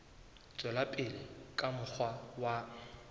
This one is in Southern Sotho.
tswela pele ka mokgwa wa